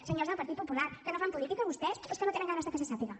senyors del partit popular que no fan política vostès o es que no tenen ganes de que se sàpiga